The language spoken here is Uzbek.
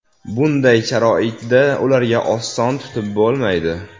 Bunday sharoitda ularga oson tutib bo‘lmaydi.